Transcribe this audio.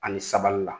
Ani sabali la